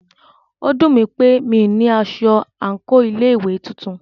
Ó dùnmí pé mí o ní aṣọ àńkò ilé ìwé titun.